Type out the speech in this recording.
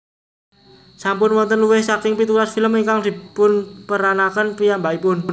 Sampun wonten luwih saking pitulas film ingkang dipunperanaken piyambakipun